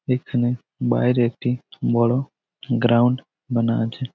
এইখানে বাহিরে একটি বড়ো গ্রাউন্ড বানা আছে।